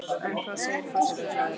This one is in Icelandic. En hvað segir forsætisráðherra?